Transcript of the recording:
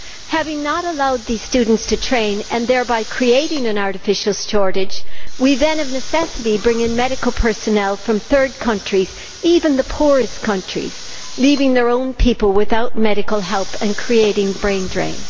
Having not allowed these students to train and thereby creating an artificial shortage, we then, of necessity, bring in medical personnel from third countries even the poorest countries leaving their own people without medical help and creating a brain drain.